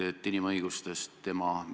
Hea peaminister!